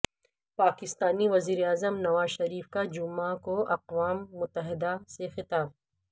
پاکستانی وزیر اعظم نواز شریف کا جمعہ کو اقوام متحدہ سے خطاب